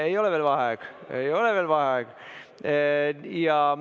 Ei ole veel vaheaeg, ei ole veel vaheaeg.